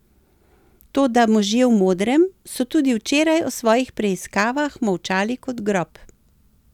Toda možje v modrem so tudi včeraj o svojih preiskavah molčali kot grob.